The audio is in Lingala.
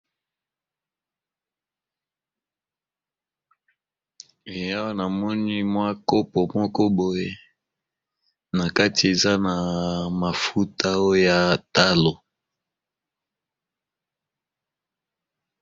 Eh awa na moni mwa kopo moko boye na kati eza na mafuta oya talo.